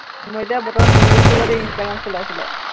মই এতিয়া বৰ্তমান বহি আছো আক দেই ইন্সট্ৰাগ্ৰাম চলাই চলাই